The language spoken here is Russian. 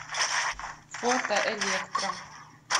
фото электро